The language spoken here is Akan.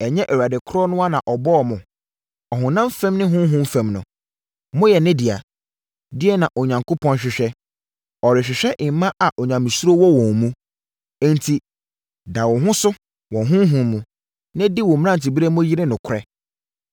Ɛnyɛ Awurade korɔ no ara na ɔbɔɔ mo? Ɔhonam fam ne honhom fam no, moyɛ ne dea. Deɛn na Onyankopɔn hwehwɛ? Ɔrehwehwɛ mma a onyamesuro wɔ wɔn mu. Enti da wo ho so wɔ honhom mu, na di wo mmeranteberɛ mu yere nokorɛ.